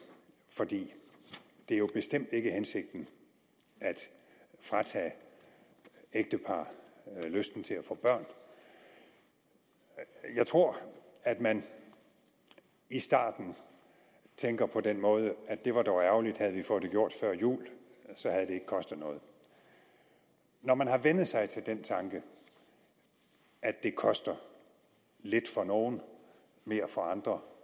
for det er jo bestemt ikke hensigten at fratage ægtepar lysten til at få børn jeg tror at man i starten tænker på den måde at det var dog ærgerligt havde vi fået det gjort før jul så havde det kostet noget når man har vænnet sig til den tanke at det koster lidt for nogle mere for andre